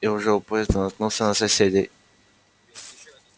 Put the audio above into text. и уже у поезда наткнулся на соседей